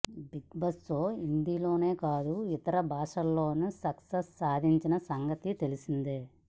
big Boss show Hindi లోనే కాదు ఇతర భాషల్లోను సక్సెస్ సాధించిన సంగతి తెలిసిందే